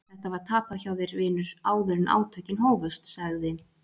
Þetta var tapað hjá þér vinur áður en átökin hófust, sagði